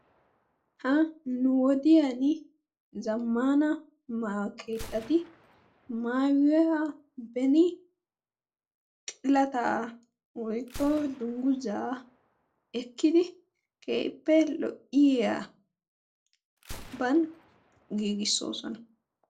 ha nu wodiyaani zaammaana maayo keettati maayuwaa beeni xilaataa woykko dunguuzaa eekkidi keehippe lo'iyaaban giigisoosona.